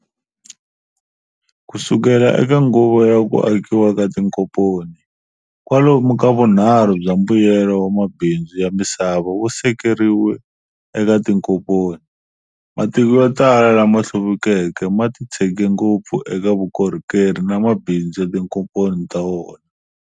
Kusukela eka nguva ya ku akiwa ka tinkomponi, kwalomu ka vunharhu bya mbuyelo wa mabindzu ya misava wusekeriwe eka tinkomponi. Matiko yo tala lama hluvukeke matitshege ngopfu eka vukorhokeri na mabindzu ya tinkomponi ta wona.